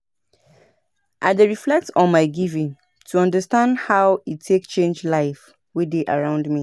I dey share testimonials from beneficiaries to show the impact of giving.